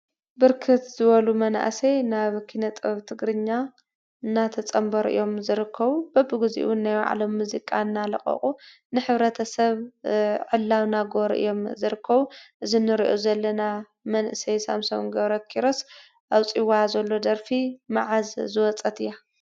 ብርክት ዝበሉ መናእሰይ ናብ ኪነ ጥበብ ትግርኛ እናተፀምበሩ እዮም ዝርከቡ። በቢ ግዚኡ እዉን ናይ ባዕሎም ሙዚቃ እናለቀቁ ንሕብረተሰ ዕላዊ እናገበሩ እዮም ዝርከቡ እዚ ንሪኦ ዘለና መንእስይ ሳምሶን ገብረኪሮስ ኣውፂዋ ዘሎ ደርፊ መዓዝ ዝወፀት እያ ?